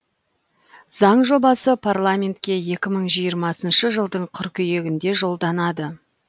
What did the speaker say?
заң жобасы парламентке екі мың жиырмасыншы жылдың қыркүйегінде жолданады